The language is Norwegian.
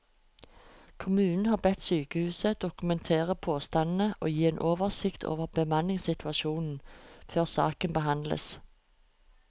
Kommunen har bedt sykehuset dokumentere påstandene og gi en oversikt over bemanningssituasjonen før saken behandles.